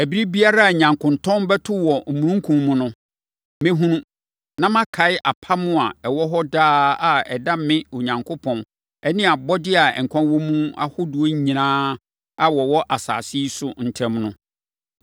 Ɛberɛ biara a nyankontɔn bɛto wɔ omununkum mu no, mɛhunu, na makae apam a ɛwɔ hɔ daa a ɛda me, Onyankopɔn, ne abɔdeɛ a nkwa wɔ mu ahodoɔ nyinaa a wɔwɔ asase yi so ntam no.”